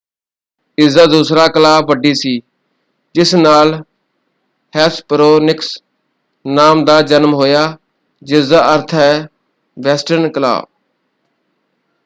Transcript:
ਇਸਦਾ ਦੂਸਰਾ ਕਲਾਅ ਵੱਡੀ ਸੀ ਜਿਸ ਨਾਲ ਹੈਸਪਰੌਨਿਕਸ ਨਾਮ ਦਾ ਜਨਮ ਹੋਇਆ ਜਿਸਦਾ ਅਰਥ ਹੈ ਵੈਸਟਰਨ ਕਲਾਅ।